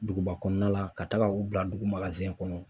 Duguba kɔnɔna la ka taaga u bila dugu ma kɔnɔ.